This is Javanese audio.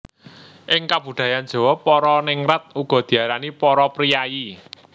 Ing kabudayan Jawa para ningrat uga diarani para priyayi